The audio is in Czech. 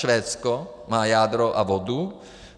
Švédsko má jádro a vodu.